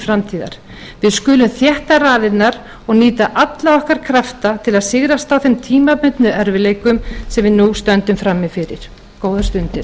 framtíðar við skulum þétta raðirnar og nýta alla okkar krafta til að sigrast á þeim tímabundnu erfiðleikum sem við nú stöndum frammi fyrir góðar stundir